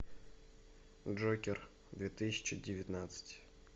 джокер две тысячи девятнадцать